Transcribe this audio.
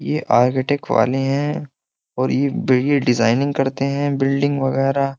मेरे आर्किटेक्ट वाले हैं और ये डिजाइनिंग करते हैं बिल्डिंग वगैरह --